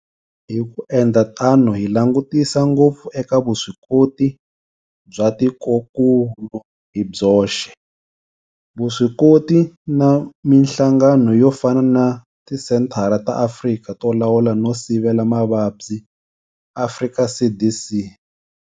Hi ku endla tano hi langutisa ngopfu eka vuswikoti bya tikokulu hi byoxe, vuswikoti na mihlangano yo fana na Tisenthara ta Afrika to Lawula no Sivela Mavabyi, Afrika CDC.